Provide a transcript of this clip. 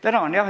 Tänan!